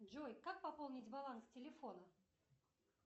джой как пополнить баланс телефона